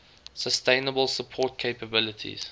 sustainable support capabilities